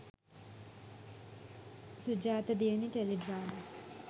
sujatha diyani teledrama